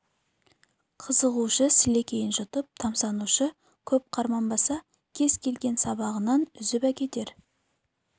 қызығушы сілекейін жұтып тамсанушы көп қарманбаса кез келген сабағынан үзіп әкетер